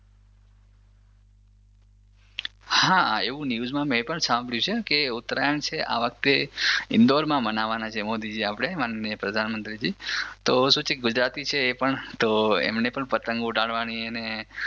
હા એવું ન્યૂઝમાં મેં પણ સાંભળ્યું છે કે ઉત્તરાયણ છે આ વખતે ઇન્દોરમાં મનવાના છે મોદીજી આપણે માનનીય પ્રધામમંત્રીજી તો શું છે કે ગુજરાતી છે એ પણ તો એમને પણ પતંગ ઉડાવાની એને